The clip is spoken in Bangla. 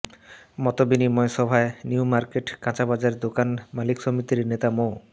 মতবিনিময় সভায় নিউমার্কেট কাঁচাবাজার দোকান মালিক সমিতির নেতা মো